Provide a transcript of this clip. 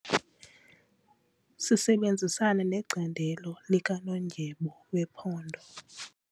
Sisebenzisana necandelo likanondyebo wephondo.